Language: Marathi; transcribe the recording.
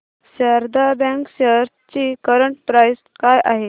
शारदा बँक शेअर्स ची करंट प्राइस काय आहे